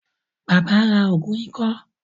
Bàbá ra ògùn ikọ́